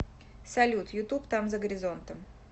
салют ютуб там за горизонтом